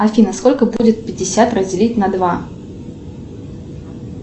афина сколько будет пятьдесят разделить на два